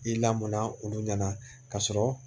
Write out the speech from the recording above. I lamɔnna olu ɲɛna ka sɔrɔ